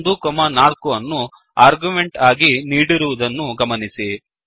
1 4 ಅನ್ನು ಆರ್ಗ್ಯುಮೆಂಟ್ ಆಗಿ ನೀಡಿರುವುದನ್ನು ಗಮನಿಸಿ